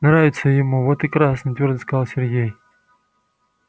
нравится ему вот и красные твёрдо сказал сергей